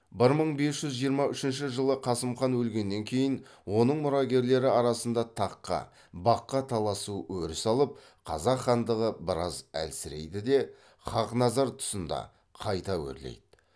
бір мың бес жүз жиырма үшінші жылы қасым хан өлгеннен кейін оның мұрагерлері арасында таққа баққа таласу өріс алып қазақ хандығы біраз әлсірейді де хақназар тұсында қайта өрлейді